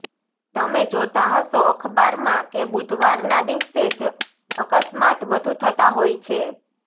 તમે જોતાં હશો અખબારમાં કે બુધવારના દિવસે જ અકસ્માત વધુ થતાં હોય છે